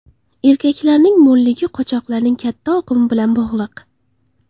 Erkaklarning mo‘lligi qochoqlarning katta oqimi bilan bog‘liq.